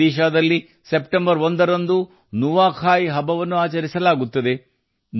ಒಡಿಶಾದಲ್ಲಿ ಸೆಪ್ಟೆಂಬರ್ 1 ರಂದು ನುವಾಖಾಯ್ ಹಬ್ಬವನ್ನು ಆಚರಿಸಲಾಗುತ್ತದೆ